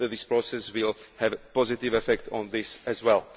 can cause. This process will have a positive effect on this